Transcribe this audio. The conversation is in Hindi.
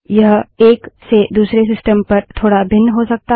यह एक से दूसरे सिस्टम पर थोड़ा भिन्न हो सकता है